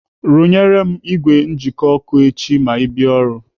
Rụnyere m ìgwè njikwa ọkụ echi ma ị bịa ọrụ.